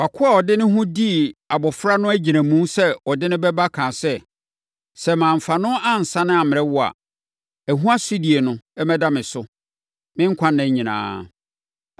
Wʼakoa a ɔde ne ho dii abɔfra no agyinamu sɛ ɔde no bɛba kaa sɛ, ‘Sɛ mamfa no ansane ammrɛ wo a, ɛho asodie no mmɛda me so, me nkwanna nyinaa.’